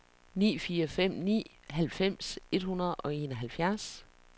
ni fire fem ni halvfems et hundrede og enoghalvfjerds